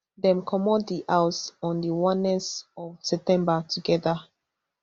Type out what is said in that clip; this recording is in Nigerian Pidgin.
dem comot di house on di onest of september togeda